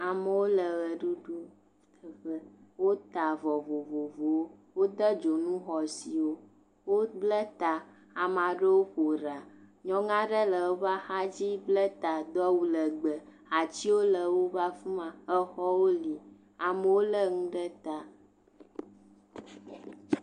Amewo le ʋe ɖuɖu ɖu ƒe, wota avɔ vovovowo, wode dzonu xɔ asi, wobla ta, ame aɖewo ƒo ɖa, nyɔnu aɖe le eƒe axa dzi bla ta do awu legbee, atiwo le woƒe afi ma, exɔwo li amewo lé nu ɖe ta.